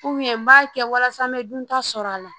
n b'a kɛ walasa n bɛ duntaa sɔrɔ a la